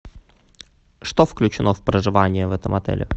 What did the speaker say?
что включено в проживание в этом отеле